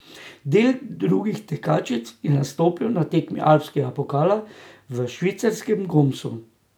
Del drugih tekačic je nastopil na tekmi alpskega pokala v švicarskem Gomsu.